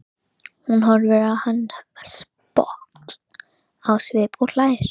Hún horfir á hann sposk á svip og hlær.